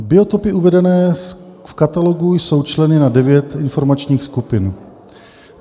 Biotopy uvedené v Katalogu jsou členěny na devět formačních skupin.